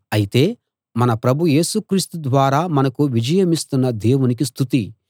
అయితే మన ప్రభు యేసు క్రీస్తు ద్వారా మనకు విజయమిస్తున్న దేవునికి స్తుతి